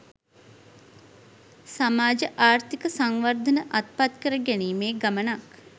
සමාජ ආර්ථික සංවර්ධන අත්පත් කර ගැනීමේ ගමනක්